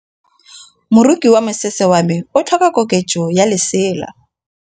Moroki wa mosese wa me o tlhoka koketsô ya lesela.